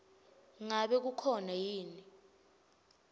ngabe kukhona yini